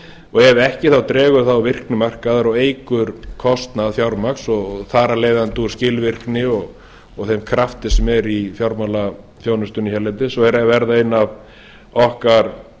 og ef ekki þá dregur það úr virkni markaðar og eykur kostnað fjármagns og þar af leiðandi úr skilvirkni og þeim krafti sem er í fjármálaþjónustunni hérlendis og er að verða einn af okkar